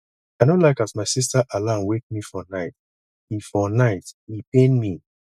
i no like as my sista alarm wake me for night e for night e pain me